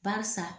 Barisa